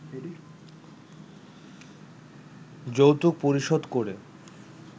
যৌতুক পরিশোধ করে